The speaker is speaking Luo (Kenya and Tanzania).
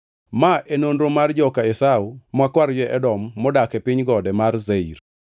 Ma e nonro mar joka Esau ma kwar jo-Edom manodak e piny gode mar Seir.